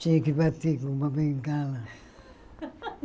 Tinha que bater com uma bengala.